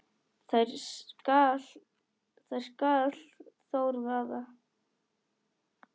þær skal Þór vaða